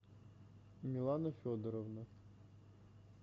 милана федоровна